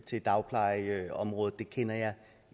til dagplejeområdet det kender jeg